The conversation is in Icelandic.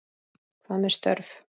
Hvað með störf?